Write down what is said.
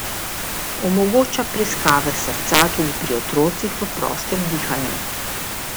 Omogoča preiskave srca tudi pri otrocih v prostem dihanju.